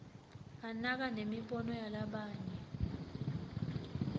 anaka nemibono yalabanye